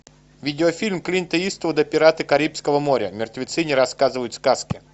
видеофильм клинта иствуда пираты карибского моря мертвецы не рассказывают сказки